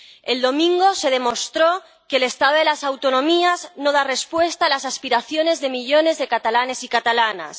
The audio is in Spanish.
El domingo se demostró que el Estado de las Autonomías no da respuesta a las aspiraciones de millones de catalanes y catalanas.